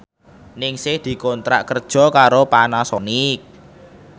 Ningsih dikontrak kerja karo Panasonic